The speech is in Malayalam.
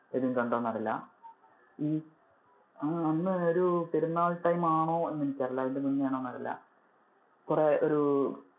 എബിൻ കണ്ടോന്ന് അറിയില്ല. ഈ അന്ന് ഒരു പെരുന്നാൾ time ആണോ എന്ന് എനിക്ക് അറിയില്ല അതിനു മുന്നേ ആണോന്ന് അറിയില്ല. കുറെ ഒരു